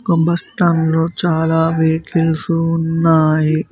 ఆ బస్టాండ్ లో చాలా వెహికల్స్ ఉన్నాయి.